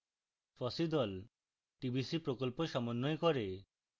fossee the tbc প্রকল্প সমন্বয় করে